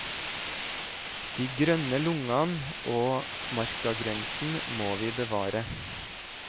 De grønne lungene og markagrensen må vi bevare.